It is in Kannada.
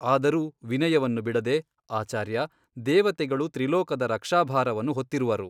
ಆದರೂ ವಿನಯವನ್ನು ಬಿಡದೆ ಆಚಾರ್ಯ ದೇವತೆಗಳು ತ್ರಿಲೋಕದ ರಕ್ಷಾಭಾರವನ್ನು ಹೊತ್ತಿರುವರು.